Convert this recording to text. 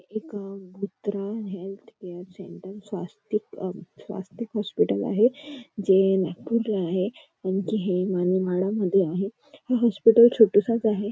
एक भुत्रा health care centre Swastik अ स्वस्तिक हॉस्पिटल आहे जे नागपूरला आहे आणि कि हे माडामध्ये आहे हे हॉस्पिटल छोटंसंच आहे.